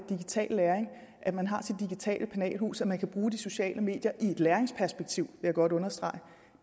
digital læring at man har sit digitale penalhus og man kan bruge de sociale medier i et læringsperspektiv jeg godt understrege